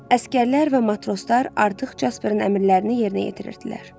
Əsgərlər və matroslar artıq Jasperin əmrlərini yerinə yetirirdilər.